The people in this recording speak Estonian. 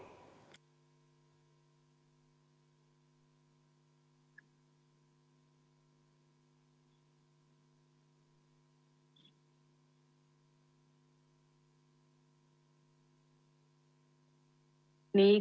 Nii.